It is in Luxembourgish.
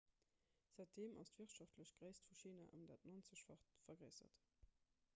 säitdeem ass d'wirtschaftlech gréisst vu china ëm dat 90-facht vergréissert